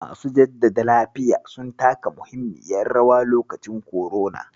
Masu jaddada lafiya sun taka muhimmiyar rawa lokacin korona.